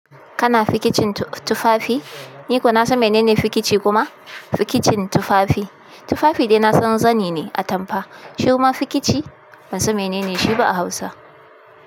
Kana fikicin tufafi? Ni ko na san menene fikici kuma? Fikicin tufafi. Tufafi dai na san zani ne atampa. Shi kuma fikici ban san menene shi ba a Hausa.